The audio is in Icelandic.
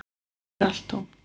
Hér er allt tómt